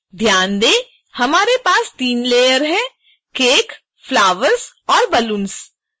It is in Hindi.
ध्यान दें हमारे पास तीन लेयर cake flowers और balloons हैं